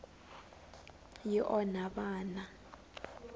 yi onha vana